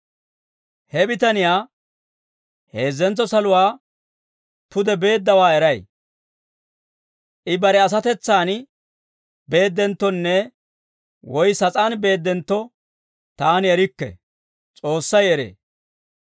He bitaniyaa, heezzentso saluwaa pude beeddawaa, eray; I bare asatetsaan beeddenttonne woy sas'aan beeddentto, taani erikke; S'oossay eree.